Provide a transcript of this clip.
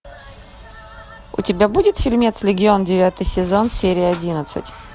у тебя будет фильмец легион девятый сезон серия одиннадцать